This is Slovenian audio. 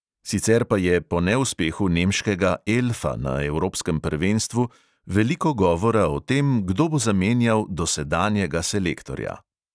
Sicer pa je po neuspehu nemškega "elfa" na evropskem prvenstvu veliko govora o tem, kdo bo zamenjal dosedanjega selektorja.